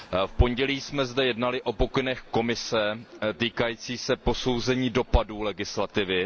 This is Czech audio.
V pondělí jsme zde jednali o pokynech Komise týkajících se posouzení dopadů legislativy.